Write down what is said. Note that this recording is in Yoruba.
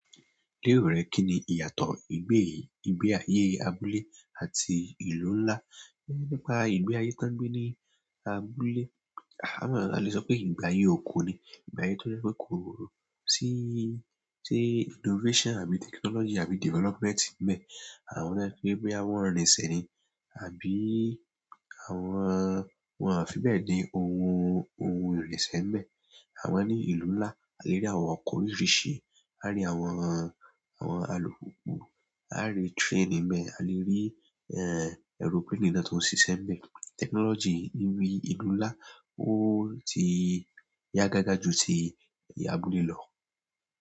Lero rẹ kíni ìyàtọ̀ ìgbé, ìgbé ayé abúlé àti ìlú ńlá? É nípa ìgbé ayé tán gbé ní abúlé, a máa le sọ pé ìgbé ayé oko ni, ìgbé ayé tó jẹ pé kò síí, sí innovation àbí technology àbí development nbẹ. Àwón to jẹ wípé bọya wọn rinsẹ ni, àbíí àwọn, wọn fi bẹ́ẹ̀ ni ohun, ohun irinsẹ nbẹ. Àmọ ní ìlú ńlá, a lè rí àwọn ọkọ̀ oríṣiríṣi, a lè rí àwọn, àwọn alùpùpù, a lè rí train nbẹ, a lè rí éè airplane náà tó ń sisẹ nbẹ. Technology níbí ìlú ńlá ó ti yá gágá ju ti abúlé lọ.